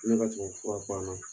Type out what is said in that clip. Ne ka tubabu fura ban na.